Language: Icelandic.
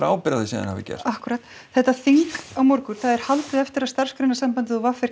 ábyrgð á því sem þið hafið gert akkúrat þetta þing á morgun það er haldið eftir að Starfsgreinasambandið og v r